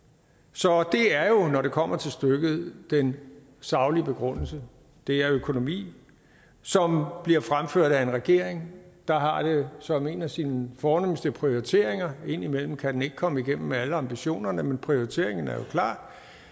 så det er jo når det kommer til stykket den saglige begrundelse det er økonomi som bliver fremført af en regering der har det som en af sine fornemste prioriteringer indimellem kan den ikke komme igennem med alle ambitionerne men prioriteringen er jo klar